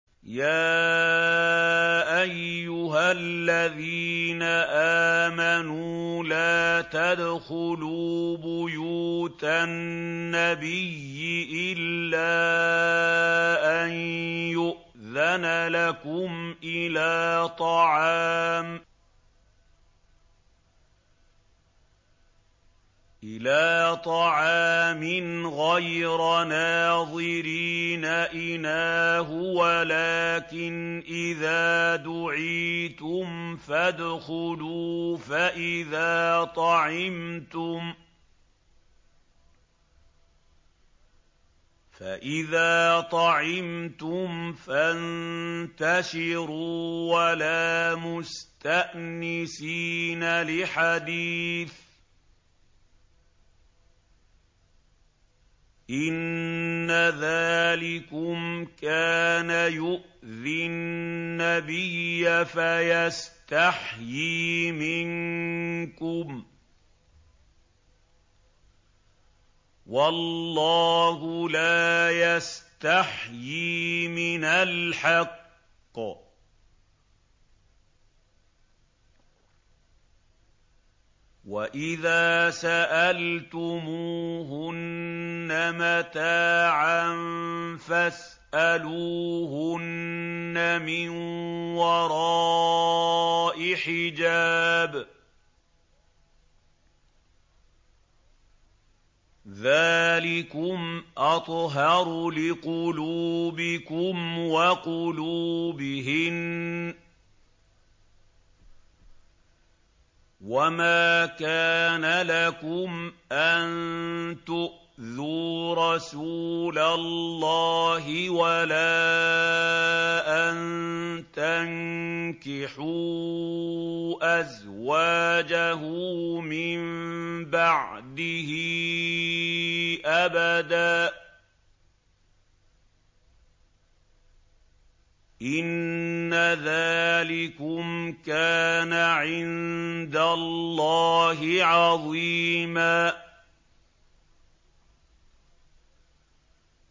يَا أَيُّهَا الَّذِينَ آمَنُوا لَا تَدْخُلُوا بُيُوتَ النَّبِيِّ إِلَّا أَن يُؤْذَنَ لَكُمْ إِلَىٰ طَعَامٍ غَيْرَ نَاظِرِينَ إِنَاهُ وَلَٰكِنْ إِذَا دُعِيتُمْ فَادْخُلُوا فَإِذَا طَعِمْتُمْ فَانتَشِرُوا وَلَا مُسْتَأْنِسِينَ لِحَدِيثٍ ۚ إِنَّ ذَٰلِكُمْ كَانَ يُؤْذِي النَّبِيَّ فَيَسْتَحْيِي مِنكُمْ ۖ وَاللَّهُ لَا يَسْتَحْيِي مِنَ الْحَقِّ ۚ وَإِذَا سَأَلْتُمُوهُنَّ مَتَاعًا فَاسْأَلُوهُنَّ مِن وَرَاءِ حِجَابٍ ۚ ذَٰلِكُمْ أَطْهَرُ لِقُلُوبِكُمْ وَقُلُوبِهِنَّ ۚ وَمَا كَانَ لَكُمْ أَن تُؤْذُوا رَسُولَ اللَّهِ وَلَا أَن تَنكِحُوا أَزْوَاجَهُ مِن بَعْدِهِ أَبَدًا ۚ إِنَّ ذَٰلِكُمْ كَانَ عِندَ اللَّهِ عَظِيمًا